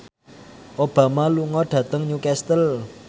Obama lunga dhateng Newcastle